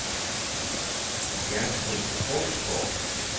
Gertrud Krogsgaard